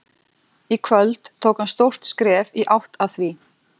Í kvöld tók hann stórt skref í átt að því.